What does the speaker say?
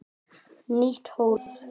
Það var Þórður sonur hans.